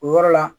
O yɔrɔ la